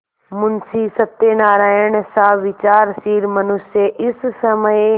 मुंशी सत्यनारायणसा विचारशील मनुष्य इस समय